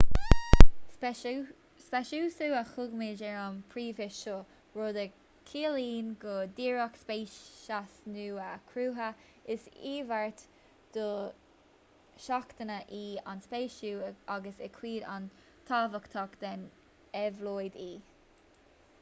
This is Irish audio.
speiceasú a thugaimid ar an bpróiseas seo rud a chiallaíonn go díreach speiceas nua a chruthú is iarmhairt dosheachanta í an speiceasú agus is cuid an-tábhachtach den éabhlóid í